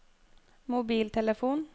mobiltelefon